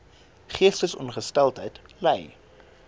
geestesongesteldheid ly